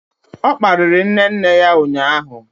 O kparịrị nne nne ya ụnyahụ.